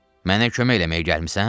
Mənə kömək eləməyə gəlmisən?